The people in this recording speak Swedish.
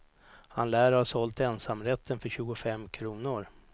Han lär ha sålt ensamrätten för tjugofem kronor.